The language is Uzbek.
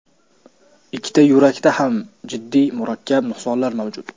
Ikkita yurakda ham jiddiy, murakkab nuqsonlar mavjud.